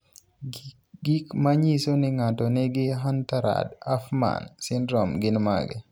Gik manyiso ni ng'ato nigi Hunter Rudd Hoffmann syndrome gin mage?